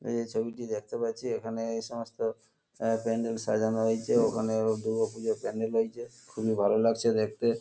এই যে ছবিটি দেখতে পাচ্ছি এখানে এই সমস্ত আহ প্যান্ডেল সাজানো হয়েছে ওখানে ও দুর্গা পুজোর প্যান্ডেল রয়েছে খুবই ভালো লাগছে দেখতে ।